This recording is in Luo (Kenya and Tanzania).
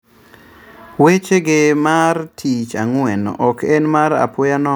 Wechege mar tich ang'wen ok en mar apoya nono